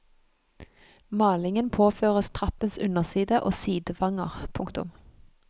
Malingen påføres trappens underside og sidevanger. punktum